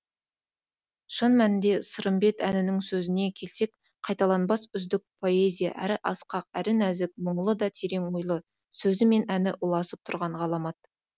шын мәнінде сырымбет әнінің сөзіне келсек қайталанбас үздік поэзия әрі асқақ әрі нәзік мұңлы да терең ойлы сөзі мен әні ұласып тұрған ғаламат